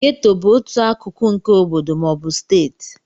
Gétò bụ otu akụkụ nke obodo ma ọ bụ steeti